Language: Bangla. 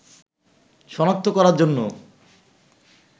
শনাক্ত করার জন্য